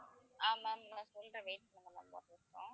ஆஹ் ma'am நான் சொல்றேன் wait பண்ணுங்க ma'am ஒரு நிமிஷம்